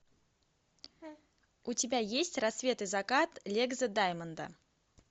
у тебя есть рассвет и закат легза даймонда